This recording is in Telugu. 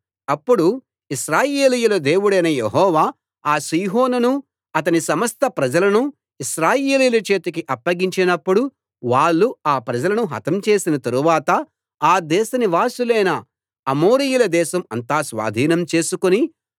అప్పుడు ఇశ్రాయేలీయుల దేవుడైన యెహోవా ఆ సీహోనును అతని సమస్త ప్రజలను ఇశ్రాయేలీయుల చేతికి అప్పగించినప్పుడు వాళ్ళు ఆ ప్రజలను హతం చేసిన తరువాత ఆ దేశనివాసులైన అమోరీయుల దేశం అంతా స్వాధీనం చేసుకుని